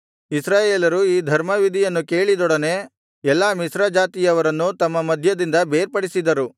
ಇಸ್ರಾಯೇಲರು ಈ ಧರ್ಮವಿಧಿಯನ್ನು ಕೇಳಿದೊಡನೆ ಎಲ್ಲಾ ಮಿಶ್ರಜಾತಿಯವರನ್ನು ತಮ್ಮ ಮಧ್ಯದಿಂದ ಬೇರ್ಪಡಿಸಿದರು